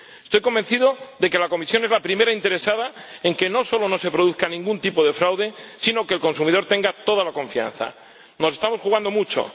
Estoy convencido de que la Comisión es la primera interesada en que no solo no se produzca ningún tipo de fraude, sino en que el consumidor tenga toda la confianza. Nos estamos jugando mucho.